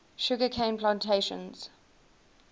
sugar cane plantations